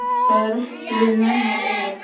Það er ekki við menn að eiga.